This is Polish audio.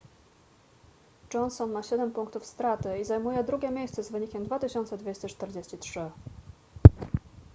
johnson ma siedem punktów straty i zajmuje drugie miejsce z wynikiem 2243